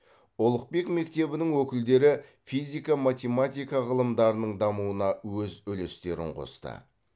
ұлықбек мектебінің өкілдері физика математика ғылымдарының дамуына өз үлестерін қосты